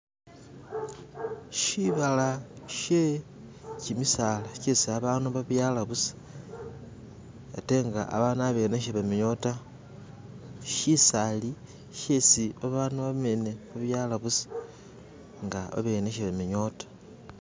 Shibala she kimisala kyesi abandu babyala busa ate nga babandu abene sebamenyawo tta, shisali shesi babandu abene babyala busa nga abene sebamenyawo tta.